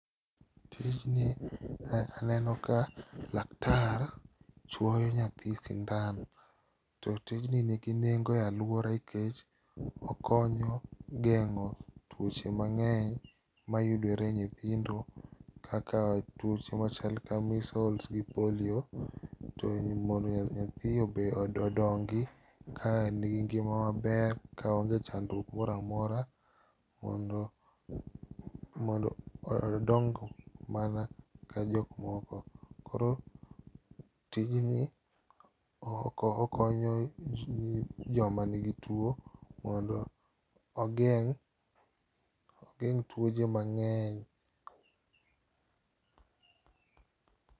Tijni aneno ka laktar chuoyo nyathi sindan to tijni nigi nengo e aluora nikech okonyo geng'o tuoche mang'eny mayudore e nyithindo kakla tuoche machalo kaka measles gi polio to mondo nyathi odongi ka en gi ngima maber oonge chandruok moro amora mondo mondo odong mana ka jok moko. Koro tijni okonyo joma nigi tuo mondo mogeng' tuoche mang'eny.